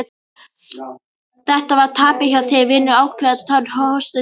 Þetta var tapað hjá þér vinur áður en átökin hófust, sagði